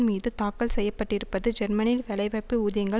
மீது தாக்குதல் தொடுக்கப்பட்டிருப்பது ஜெர்மனியில் வெலைவாய்ப்பு ஊதியங்கள்